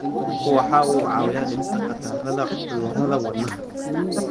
Kalluunku waxa uu caawiyaa dhimista khatarta cudurrada wadnaha.